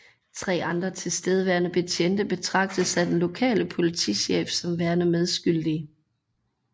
Tre andre tilstedeværende betjente betragtes af den lokale politichef som værende medskyldige